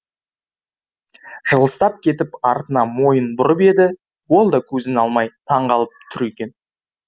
жылыстап кетіп артына мойын бұрып еді ол да көзін алмай таңғалып тұр екен